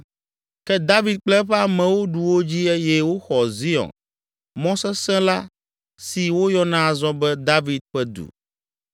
Ke David kple eƒe amewo ɖu wo dzi eye woxɔ Zion mɔ sesẽ la si woyɔna azɔ be, “David Ƒe Du.”